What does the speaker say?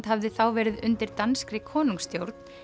hafði þá verið undir danskri konungsstjórn